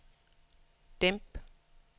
dæmp